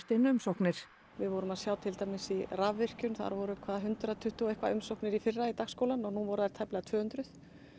inn umsóknir við vorum að sjá til dæmis í rafvirkjun það voru hvað hundrað tuttugu og umsóknir í fyrra í dagskólann og nú voru þær tæplega tvö hundruð